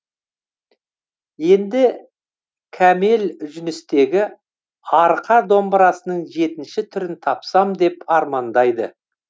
енді кәмел жүністегі арқа домбырасының жетінші түрін тапсам деп армандайды